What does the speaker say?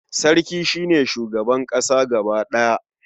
Sarki shi ne shugaban ƙasa gaba ɗaya.